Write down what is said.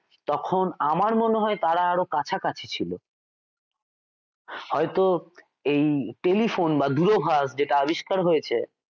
তখন আমার মনে হয় তারা আরো কাছাকাছি ছিল হয়তো এই টেলিফোন বা দূরভাষ যেটা আবিষ্কার হয়েছে